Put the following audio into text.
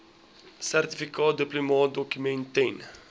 sertifikaat duplikaatdokument ten